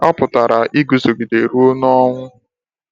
Ọ pụtara iguzogide ruo n’ọnwụ.